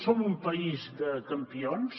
som un país de campions